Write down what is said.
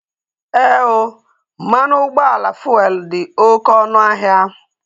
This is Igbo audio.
Ee ooo, mmanụ ụgbọala fuelu dị oké ọnụ ahịa